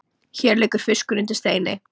Hér liggur fiskur undir steini